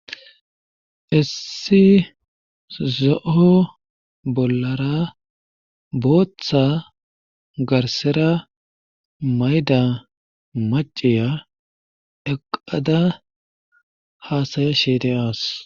issi zo7o bollara booththa garsera mayda maciya eqada haasaya sheede as